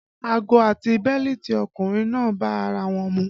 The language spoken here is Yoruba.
Ago àti bẹ́lítì ọkùnrin náà bá ara wọn mu